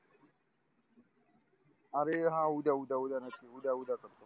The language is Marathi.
अरे हा उद्या उद्या उद्या नक्की उद्या उद्या नक्की